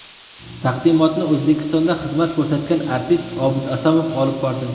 Taqdimotni O‘zbekistonda xizmat ko‘rsatgan artist Obid Asomov olib bordi.